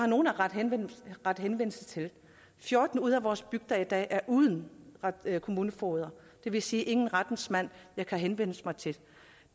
nogen at rette henvendelse til fjorten ud af vores bygder er i dag uden kommunefogeder det vil sige ingen rettens mand man kan henvende sig til